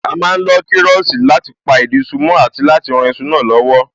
A má ń lo kiroosi láti pa ìdí iṣu mó àti láti rán iṣu náà lowo